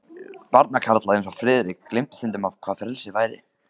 Barnakarlar eins og Friðrik gleymdu stundum, hvað frelsi væri.